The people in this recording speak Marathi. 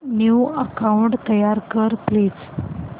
न्यू अकाऊंट तयार कर प्लीज